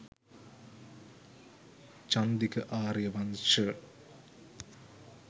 chandika ariyawansha